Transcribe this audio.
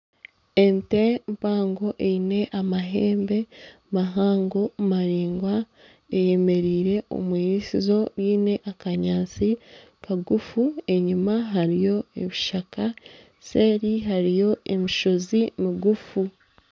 Ente mpango eine amahembe mahango maraingwa eyemereire omwiriisizo ryine akanyaatsi kagufu enyuma hariyo ebishaka seeri hariyo emishozi migufu.